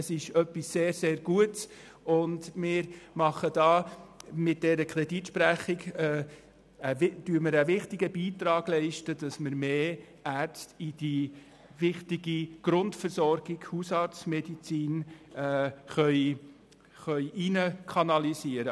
Es ist etwas sehr, sehr Gutes, und mit der Sprechung dieses Kredits leisten wir einen wichtigen Beitrag, um mehr Ärzte in die wichtige Grundversorgung Hausarztmedizin hinein zu kanalisieren.